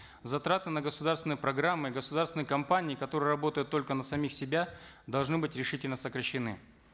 затраты на государственные программы государственные компании которые работают только на самих себя должны быть решительно сокращены